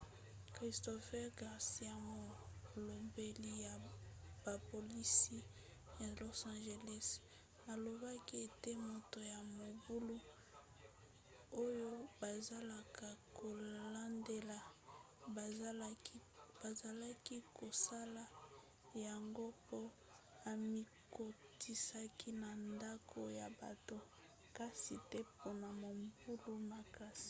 christopher garcia molobeli ya bapolisi ya los angeles alobaki ete moto ya mobulu oyo bazalaka kolandela bazalaki kosala yango po amikotisaki na ndako ya bato kasi te mpona mobulu makasi